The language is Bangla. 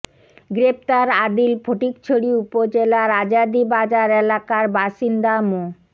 গ্রেফতার আদিল ফটিকছড়ি উপজেলার আজাদী বাজার এলাকার বাসিন্দা মো